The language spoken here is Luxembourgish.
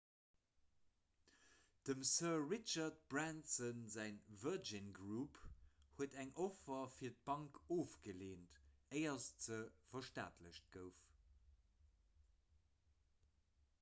dem sir richard branson säi virgin group huet eng offer fir d'bank ofgeleent éier se verstaatlecht gouf